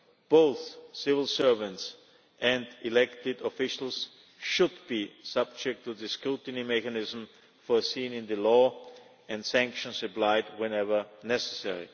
Both civil servants and elected officials should be subject to the scrutiny mechanism foreseen in the law, and sanctions applied whenever necessary.